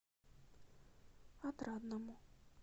отрадному